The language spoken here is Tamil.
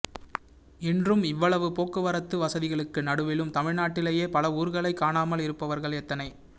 இன்றும் இவ்வளவு போக்குவரத்து வசதிகளுக்கு நடுவிலும் தமிழ்நாட்டிலேயே பல ஊர்களைக் காணாமல் இருப்பவர்கள் எத்தனை